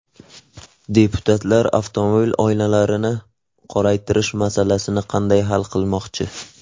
Deputatlar avtomobil oynalarini qoraytirish masalasini qanday hal qilmoqchi ?